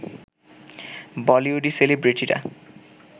বলিউডি সেলিব্রেটিরা